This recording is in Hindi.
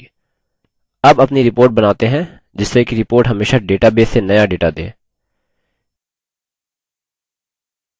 अब अपनी report बनाते हैं जिससे कि report हमेशा database से now data दे